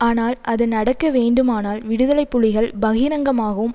ஆனால் அது நடக்க வேண்டுமானால் விடுதலை புலிகள் பகிரங்கமாகவும்